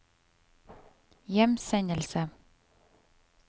hjemsendelse